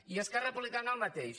i esquerra republicana el mateix